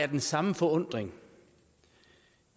den samme forundring